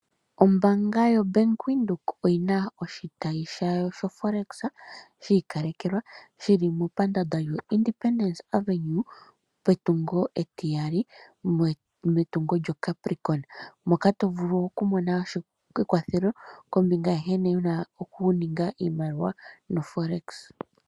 Ombaanga yoBank Windhoek oyi na oshitayi shawo shoForex shi ikalekelwa shi li mepandaanda lyawo lyo independence Avenue, metungo etiyali lyoCapricorn. Moka to vulu okumona ekwathelo kombinga yankene wu na okuninga iimaliwa noForex.